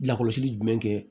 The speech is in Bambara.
Lakɔlɔsili jumɛn kɛ